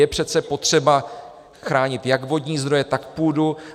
Je přece potřeba chránit jak vodní zdroje, tak půdu.